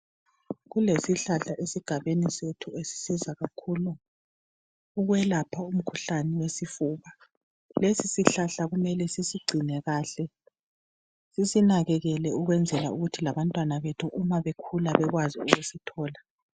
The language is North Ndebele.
Kulesihlahla esigabeni sethu ezisiza kakhulu ukwelapha umkhuhlane wesifuba lesi sihlahla kumele sisigcine kahle sisinakekele ukwenzela ukuthi labantwana bethu umabekhula bekwazi ukusithola.